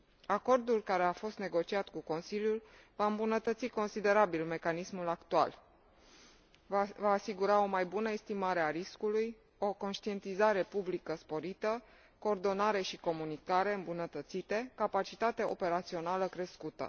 Acordul care a fost negociat cu Consiliul va îmbunătăți considerabil mecanismul actual, va asigura o mai bună estimare a riscului, o conștientizare publică sporită, coordonare și comunicare îmbunătățite, capacitate operațională crescută.